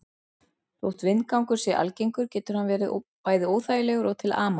Jafnvel Tolla frænda tókst ekki að beygja það um svo mikið sem millimeter.